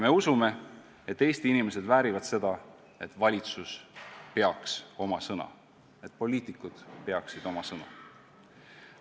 Me usume, et Eesti inimesed väärivad seda, et valitsus peaks oma sõna, et poliitikud peaksid oma sõna.